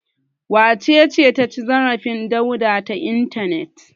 Wace ce ta ci zarafin Dauda ta intanet?